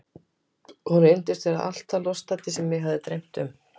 Hún reyndist vera allt það lostæti sem mig hafði dreymt um.